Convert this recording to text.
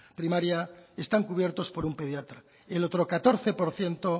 primaria están cubiertos por un pediatra el otro catorce por ciento